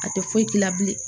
A tɛ foyi k'i la bilen